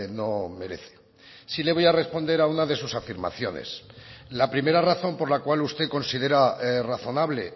no merece sí le voy a responder a una de sus afirmaciones la primera razón por la cual usted considera razonable